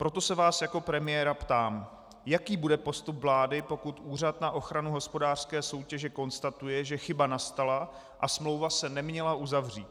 Proto se vás jako premiéra ptám, jaký bude postup vlády, pokud Úřad na ochranu hospodářské soutěže konstatuje, že chyba nastala a smlouva se neměla uzavřít.